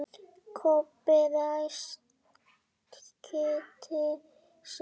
Kobbi ræskti sig.